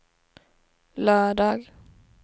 lördag